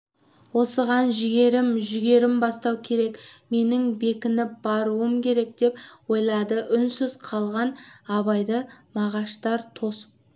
осыған жігерім жүрегім бастау керек менің бекініп баруым керек деп ойлады үнсіз қалған абайды мағаштар тосып